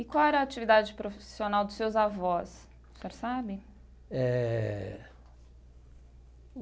E qual era a atividade profissional dos seus avós, o senhor sabe? Eh.